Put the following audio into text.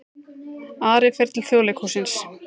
Ari fer til Þjóðleikhússins